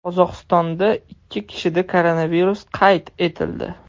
Qozog‘istonda ikki kishida koronavirus qayd etildi.